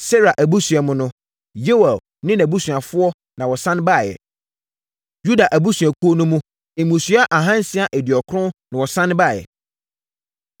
Serah abusua mu no: Yeuel ne nʼabusuafoɔ na wɔsane baeɛ. Yuda abusuakuo no mu mmusua ahansia aduɔkron (690) na wɔsane baeɛ.